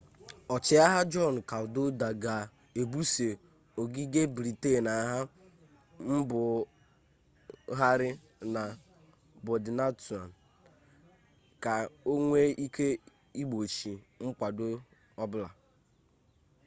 ọchịagha jọn kadwọlda ga ebuso ogige briten agha mbugharị na bọdintaụn ka onwee ike igbochi mkwado ọbụla